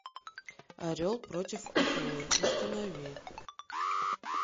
орел против акулы установи